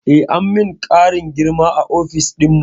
Eh, an min ƙarin girma a ofis dinmu